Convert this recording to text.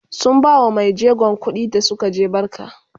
sun bawa maijegon kuɗi da Suka je barka